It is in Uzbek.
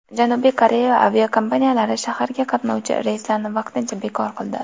Janubiy Koreya aviakompaniyalari shaharga qatnovchi reyslarni vaqtincha bekor qildi.